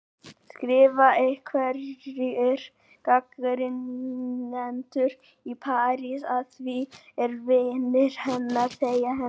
skrifa einhverjir gagnrýnendur í París, að því er vinir hennar segja henni.